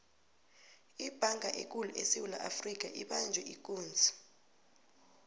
ibhanga ekulu esewula afrika ibanjwe ikunzi